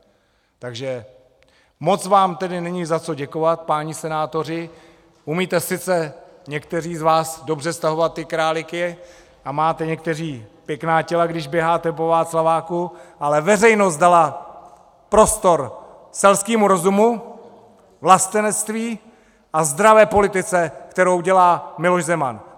Takže moc vám tedy není za co děkovat, páni senátoři, umíte sice, někteří z vás, dobře stahovat ty králíky a máte někteří pěkná těla, když běháte po Václaváku, ale veřejnost dala prostor selskému rozumu, vlastenectví a zdravé politice, kterou dělá Miloš Zeman!